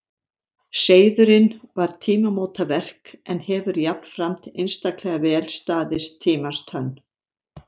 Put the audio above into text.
Seiðurinn var tímamótaverk en hefur jafnframt einstaklega vel staðist tímans tönn.